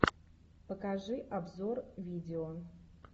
покажи обзор видео